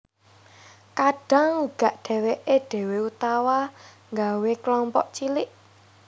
Kadang uga dèwèké dewe utawa nggawe kelompok cilik